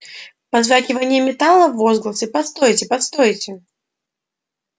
позвякивание металла возгласы постойте постойте